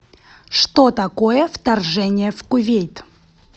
что такое вторжение в кувейт